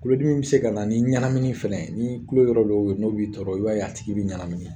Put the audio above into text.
Tulodimi bi se kana ni ɲanamini fɛnɛ ye, nii tulo yɔrɔ dɔw be ye n'o b'i tɔɔrɔ i b'a ye a tigi bi ɲanamini.